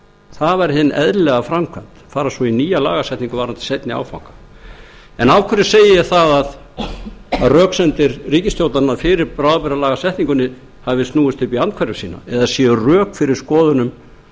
það var hin eðlilega framkvæmd fara svo í nýja lagasetningu varðandi seinni áfanga af hverju segi ég að röksemdir ríkisstjórnarinnar fyrir bráðabirgðalagasetningunni hafi snúist upp í andhverfu sína eða séu rök fyrir skoðunum